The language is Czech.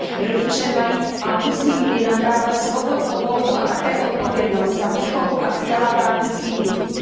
Rodiče mají a musí mít i nadále svobodnou volbu a také odpovědnost za výchovu a vzdělávání svých dětí.